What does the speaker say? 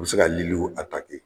U bɛ se ka liliw